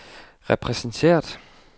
repræsenteret